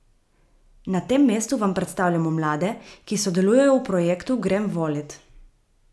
Na tem mestu vam predstavljamo mlade, ki sodelujejo v projektu Grem volit!